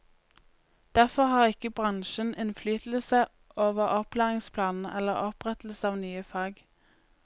Derfor har ikke bransjen innflytelse over opplæringsplanene eller opprettelse av nye fag.